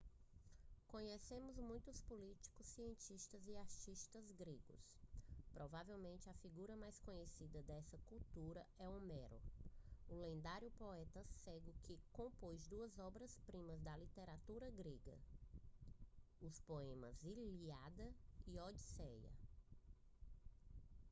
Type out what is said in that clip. conhecemos muitos políticos cientistas e artistas gregos provavelmente a figura mais conhecida dessa cultura é homero o lendário poeta cego que compôs duas obras primas da literatura grega os poemas ilíada e a odisseia